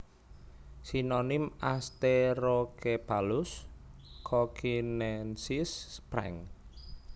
Sinonim Asterocephalus cochinensis Spreng